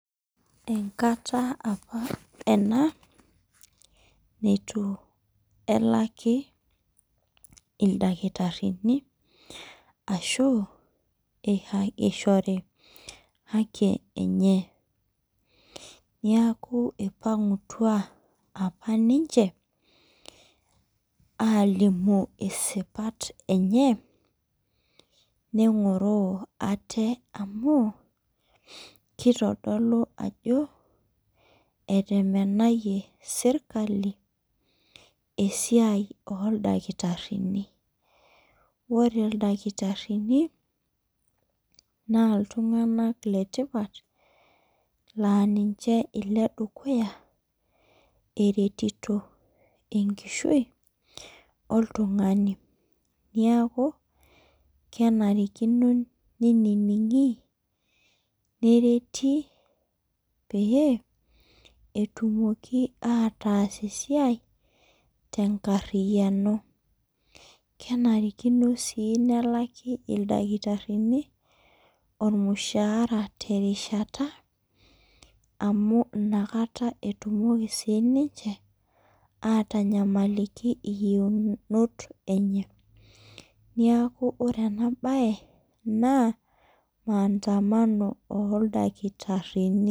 Enkata apa ena neitu elaki ildakitarini ashu eishori haki enye. Neeku ipang'utua apa ninche alimu isipat enye neng'oroo ate amukitodolo ajo etemenayie serikali esiai oo ildakitarini. Ore ildakitarini naa iltung'ana le tipat naa ninche iledukuya eretito enkishui oltung'ani. Niaku kenarikino ninining'i nereti pee etumokii ataas esiai tenkariani. Kenarikino sii nelaki ildakitarini ormushara te rishata amu inakata etumoki sii ninche atanyamaliki iyeunot enye. Niaku ore ena baye naa maandamano oo iltakitarini.